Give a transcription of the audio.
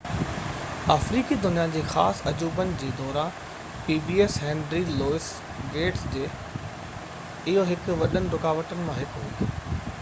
آفريقي دنيا جي خاص عجوبن جي هينري لوئيس گيٽس جي pbs دوران اهو هڪ وڏين رڪاوٽن مان هڪ هئي